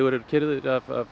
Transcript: eru keyrðir